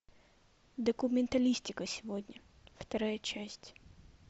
документалистика сегодня вторая часть